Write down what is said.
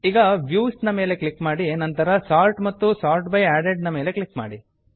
ಈಗ ವ್ಯೂಸ್ ಮೇಲೆ ಕ್ಲಿಕ್ ಮಾಡಿ ನಂತರ ಸೋರ್ಟ್ ಮತ್ತು ಸೋರ್ಟ್ ಬೈ ಅಡೆಡ್ ಮೇಲೆ ಕ್ಲಿಕ್ ಮಾಡಿ